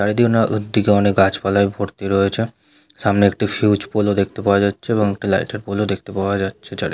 চারিদিকে উন দিকে অনেক গাছপালায় ভর্তি রয়েছে সামনে একটি ফিউজ পোল ও দেখতে পাওয়া যাচ্ছে এবং একটি লাইট এর পোল ও দেখতে পাওয়া যাচ্ছে চারি--